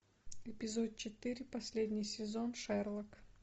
эпизод четыре последний сезон шерлок